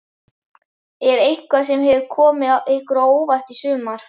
Er eitthvað sem hefur komið ykkur á óvart í sumar?